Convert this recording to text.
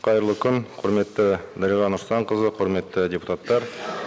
қайырлы күн құрметті дариға нұрсұлтанқызы құрметті депутаттар